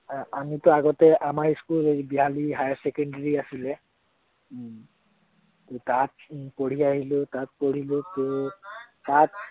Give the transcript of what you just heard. আমিটো আগতে আমাৰ school এৰ বিহালী higher secondary আছিলে তাত উম পঢ়ি আহিলো, পঢ়িলো ত